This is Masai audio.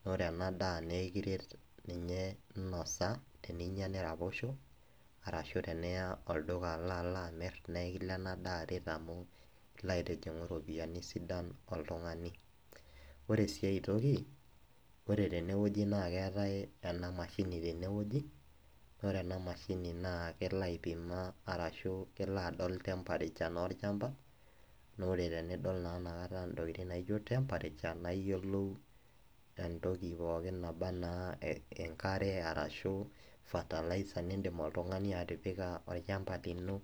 naa ore ena daa naa ekiret ninye, teninyia niraposho. arashu iya olduka alo, alo amir naa ekiret ena daa amu ilo aitijingu iropiyiani sidan oltungani. ore sii aetoki ore tene wueji naa keetae ena masini tene wueji naa ore ena mashini naa kelo ai ima arashu kelo adol temperaturevnaa olchampa, naa ore na tenidol ina kata ntokitin naijo temperature naa iyiolou entoki pokin naba anaa enkare arshu fertilizer nidim oltungani atipika olchampa lino.